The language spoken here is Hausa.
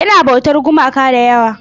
Yana bautar gumaka da yawa.